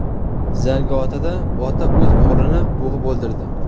Zangiotada ota o‘z o‘g‘lini bo‘g‘ib o‘ldirdi.